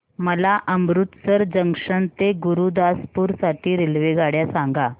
मला अमृतसर जंक्शन ते गुरुदासपुर साठी रेल्वेगाड्या सांगा